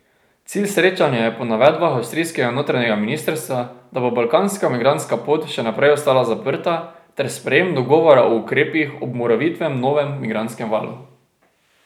Cilj srečanja je po navedbah avstrijskega notranjega ministrstva, da bo balkanska migrantska pot še naprej ostala zaprta ter sprejem dogovora o ukrepih ob morebitnem novem migrantskem valu.